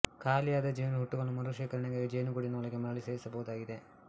ಖಾಲಿಯಾದ ಜೇನು ಹುಟ್ಟುಗಳನ್ನು ಮರುಶೇಖರಣೆಗಾಗಿ ಜೇನುಗೂಡಿನ ಒಳಗೆ ಮರಳಿ ಸೇರಿಸಬಹುದಾಗಿದೆ